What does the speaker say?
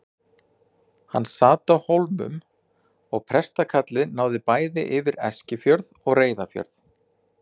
Hann sat á Hólmum og prestakallið náði bæði yfir Eskifjörð og Reyðarfjörð.